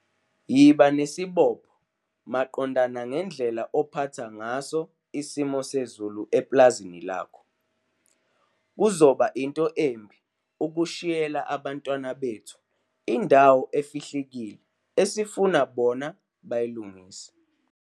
Yiba nesibopho maqondana ngendlela uphatha ngaso isimo sezulu epulazini lakho. Kuzoba into embi ukushiyela abantwana bethu indawo efihlikile esifuna bona bayilungise